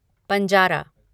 Panjara